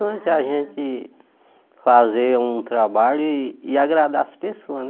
a gente fazer um trabalho e e agradar as pessoas, né?